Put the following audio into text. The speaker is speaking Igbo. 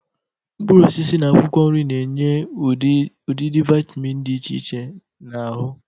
Mkpụrụosisi na akwụkwọ nri n'enye ụdịdị vịtamịn dị iche iche n'ahụ.